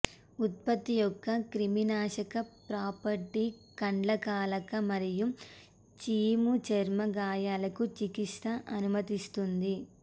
ఉత్పత్తి యొక్క క్రిమినాశక ప్రాపర్టీ కండ్లకలక మరియు చీము చర్మ గాయాలకు చికిత్స అనుమతిస్తుంది